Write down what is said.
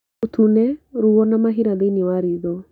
ũtune, ruo na mahira thĩinĩ wa ritho